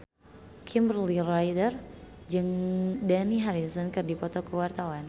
Kimberly Ryder jeung Dani Harrison keur dipoto ku wartawan